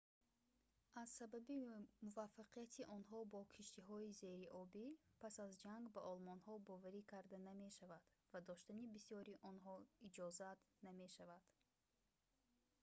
аз сабаби муваффақияти онҳо бо киштиҳои зериобӣ пас аз ҷанг ба олмониҳо боварӣ карда намешавад ва доштани бисёри онҳо иҷозат намешавад